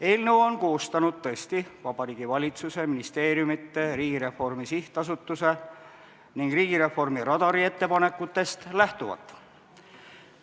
Eelnõu on koostanud tõesti Vabariigi Valitsus ministeeriumide, Riigireformi SA ning Riigireformi Radari ettepanekutest lähtuvalt.